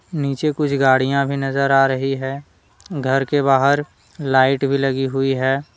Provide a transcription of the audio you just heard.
नीचे कुछ गाड़िया भी नजर आ रही है। घर के बाहर लाइट भी लगी हुई है।